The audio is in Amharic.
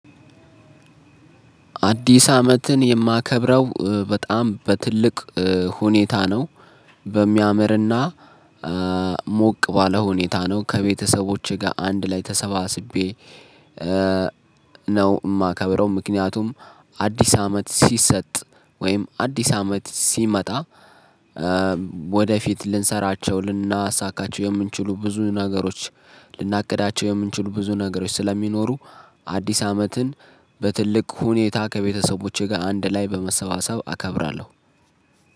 አዲስ አመትን የማከብረው በጣም በትልቅ ሁኔታ ነው። በሚያምርና ሞቅ ባለ ሁኔታ ነው። ከቤተሰቦቼ ጋር አንድ ላይ ተሰባስቤ ነው ማከብረው። ምክንያቱም አዲስ አመት ሲሰጥ ወይም አዲስ አመት ሲመጣ ወደፊት ልንሰራቸው ልናሳካቸው የምንችሉ ብዙ ነገሮች ልናቅዳቸው የምንችል ብዙ ነገሮች ስለሚኖሩ አዲስ አመትን በትልቅ ሁኔታ ከቤተሰቦቼ ጋር አንድ ላይ በመሰባሰብ አከብራለሁ።